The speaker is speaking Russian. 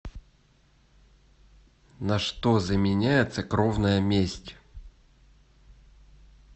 на что заменяется кровная месть